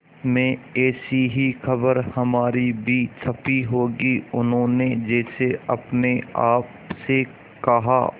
में ऐसी ही खबर हमारी भी छपी होगी उन्होंने जैसे अपने आप से कहा